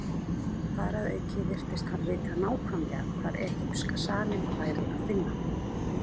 Þar að auki virtist hann vita nákvæmlega hvar egypska salinn væri að finna.